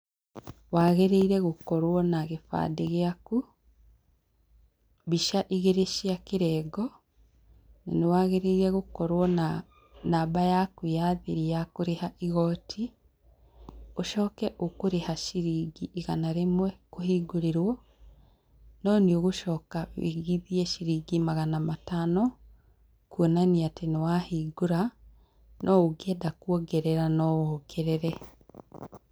Wagĩrĩire gũkorwo na gĩbandĩ gĩaku, mbica igĩrĩ cia kĩrengo, nĩwagĩrĩire gũkorwo na namba yaku ya thiri ya kũrĩha igoti, ũcoke ũkũrĩha ciringi igana rĩmwe kũhingũrĩrwo, no nĩũgũcoka wĩigithie ciringi magana matano kuonania atĩ nĩwahingũra no ũngĩenda kuongerera no wongerere.